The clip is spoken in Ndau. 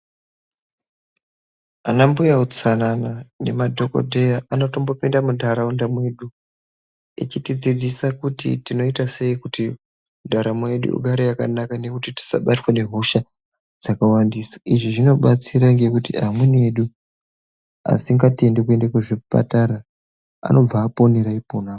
Ana mbuya utsanana nemadhokodheya anotombopinda muntharaunda mwedu echitidzidzisa kuti tinoitasei kuti ndaramo yedu igare yakanaka nekuti tisabatwa ngehosha dzakawandisa. Izvi zvinobatsira ngekuti amweni edu asingatendi kuenda kuzvipatara anobava aponera ipona.